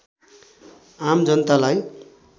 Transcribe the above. आम जनतालाई